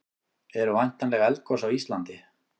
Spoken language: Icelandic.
eru væntanleg eldgos á íslandi